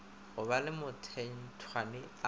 go ba le mathethwane a